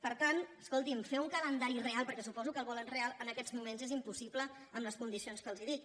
per tant escolti’m fer un calendari real perquè suposo que el volen real en aquests moments és impossible amb les condicions que els dic